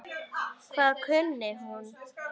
Hvað kunni hún?